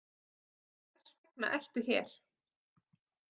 Og hvers vegna ertu hér?